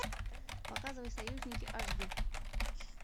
показывай союзники аш ди